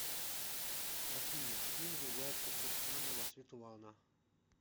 афина кем является кирсанова светлана